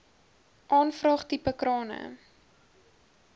aanvraag tipe krane